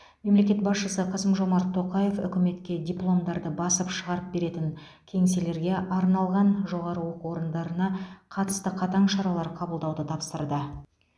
мемлекет басшысы қасым жомарт тоқаев үкіметке дипломдарды басып шығарып беретін кеңселерге арналған жоғары оқу орындарына қатысты қатаң шаралар қабылдауды тапсырды